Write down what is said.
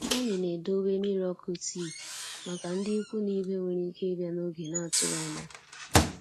Anyị na-edowe mmiri ọkụ tii màkà ndị ikwu na ibe nwéré ike ịbịa n'oge n'atụghị ányá.